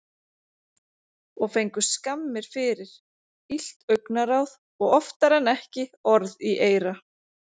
Og fengu skammir fyrir, illt augnaráð og oftar en ekki orð í eyra.